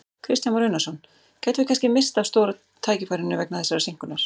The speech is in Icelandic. Kristján Már Unnarsson: Gætum við kannski misst af stóra tækifærinu vegna þessarar seinkunar?